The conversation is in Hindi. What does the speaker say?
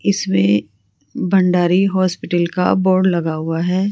इसमें भण्डारी हॉस्पिटल का बोर्ड लगा हुआ है।